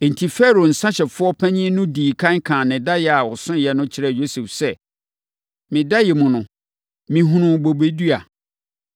Enti, Farao nsãhyɛfoɔ panin no dii ɛkan kaa ne daeɛ a ɔsoeɛ no kyerɛɛ Yosef sɛ, “Me daeɛ mu no, mehunuu bobe dua.